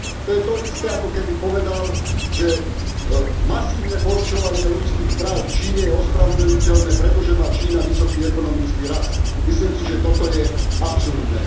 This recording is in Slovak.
To je to isté, ako keby povedal, že masívne porušovanie ľudských práv v Číne je ospravedlniteľné, pretože Čína má vysoký ekonomický rast. Myslím si, že toto je absurdné.